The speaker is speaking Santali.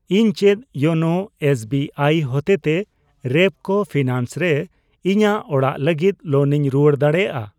ᱤᱧ ᱪᱮᱫ ᱭᱳᱱᱳ ᱮᱥᱵᱤᱟᱭ ᱦᱚᱛᱮᱛᱮ ᱨᱮᱯᱠᱳ ᱯᱷᱤᱱᱟᱱᱥ ᱨᱮ ᱤᱧᱟᱜ ᱚᱲᱟᱜ ᱞᱟᱹᱜᱤᱛ ᱞᱳᱱ ᱤᱧ ᱨᱩᱣᱟᱹᱲ ᱫᱟᱲᱮᱭᱟᱜᱼᱟ ?